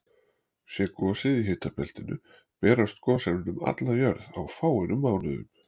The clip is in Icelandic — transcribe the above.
Sé gosið í hitabeltinu berast gosefnin um alla jörð á fáeinum mánuðum.